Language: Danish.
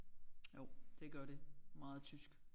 Jo det gør det meget tysk